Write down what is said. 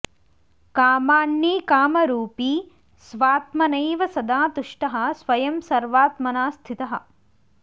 कामान्नी कामरूपी स्वात्मनैव सदा तुष्टः स्वयं सर्वात्मना स्थितः